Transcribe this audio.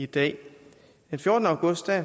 den fjortende august